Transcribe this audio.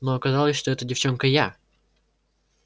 но оказалось что эта девчонка я